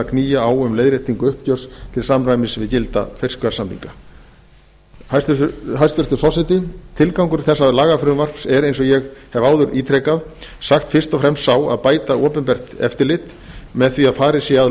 knýja á um leiðréttingu uppgjörs til samræmis við gilda fiskverðssamninga hæstvirtur forseti tilgangur þessa lagafrumvarps er eins og ég hef áður ítrekað sagt fyrst og fremst sá að bæta opinbert eftirlit með því að farið sé að